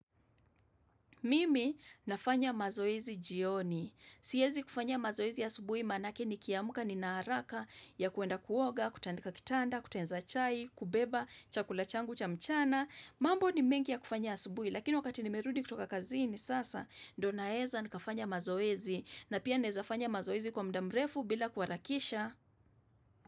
Mimi nafanya mazoezi jioni, siezi kufanya mazoezi asubuhi maanake nikiamka nina haraka ya kuenda kuoga, kutandika kitanda, kutengeneza chai, kubeba chakula changu cha mchana, mambo ni mengi ya kufanya asubuhi, lakini wakati nimerudi kutoka kazini sasa, ndio naeza nikafanya mazoezi, na pia naeza fanya mazoezi kwa muda mrefu bila kuharakisha.